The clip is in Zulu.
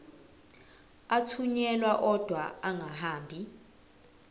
athunyelwa odwa angahambi